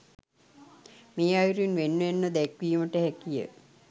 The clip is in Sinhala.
මේ අයුරින් වෙන් වෙන්ව දැක්වීමට හැකිය.